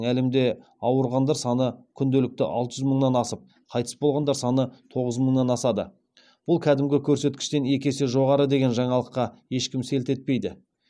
әлемде ауырғандар саны кунделікті алты жүз мыңнан асып қайтыс болғандар саны тоғыз мыңнан асады бұл көктемгі көрсеткіштен екі есе жоғары деген жаңалыққа ешкім селт етпейді